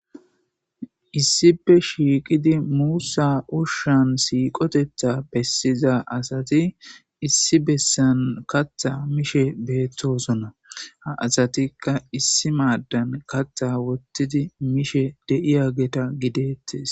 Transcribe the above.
Issipe shiiqidi muussa ushshan siiqotetha bessiza asati issi bessan katha mishe beettosonna ha asatikka issi maaddan kattha wottidi mishe deiya geta gideettes.